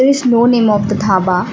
this no name of the dhaba.